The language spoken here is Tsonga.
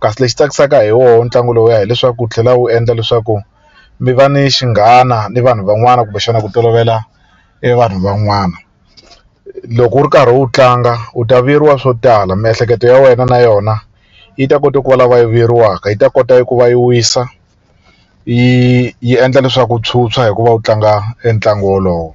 kasi lexi tsakisaka hi wona ntlangu lowuya hileswaku wu tlhela wu endla leswaku mi va ni xinghana ni vanhu van'wani kumbexana ku tolovela evanhu van'wana loko u ri karhi u wu tlanga u ta vuyeriwa swo tala miehleketo ya wena na yona yi ta kota ku va lava yi vuyeriwaka yi ta kota ku va yi wisa yi yi endla leswaku u tshwutshwa hikuva u tlanga e ntlangu wolowo.